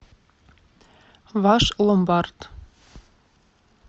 ваш ломбард